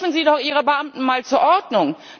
Rufen Sie doch Ihre Beamten mal zur Ordnung!